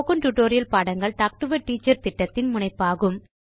spoken tutorial பாடங்கள் talk to a teacher திட்டத்தின் முனைப்பாகும்